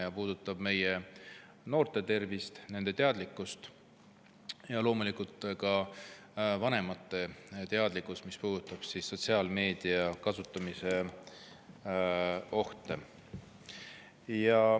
See puudutab meie noorte tervist ja nende teadlikkust ning loomulikult ka nende vanemate teadlikkust sotsiaalmeedia kasutamise ohtudest.